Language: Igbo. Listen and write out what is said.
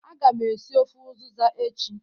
Aga m esi ofe uziza echi